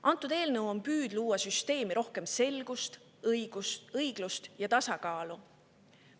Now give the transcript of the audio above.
Antud eelnõu püüab tuua süsteemi rohkem selgust, luua õiglust ja tasakaalu.